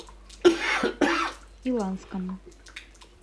иланском